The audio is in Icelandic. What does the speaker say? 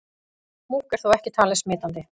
Múkk er þó ekki talið smitandi.